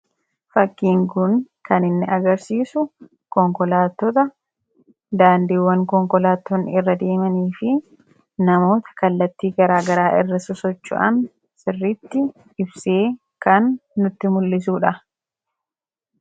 Fakkiin kun kan inni agarsiisu konkolaattota, daandiiwwan konkolaattonni irra deemanii fi namoota kallattii garaagaraa irra sosocho'an sirriitti ibsee kan nutti mul'isuudha.